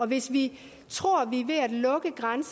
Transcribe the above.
hvis vi